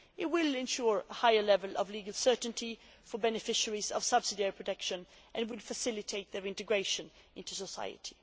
It will ensure a higher level of legal certainty for beneficiaries of subsidiary protection, and will facilitate their integration into society.